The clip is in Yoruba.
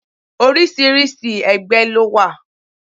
Oríṣiríṣi ẹgbẹ́ ló wà.